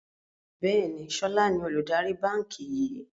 Bẹ́ẹ̀ni, sọlá ni olùdarí báńkì yìí